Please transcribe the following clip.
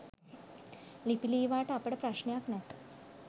ලිපි ලීවාට අපට ප්‍රශ්නයක් නැත.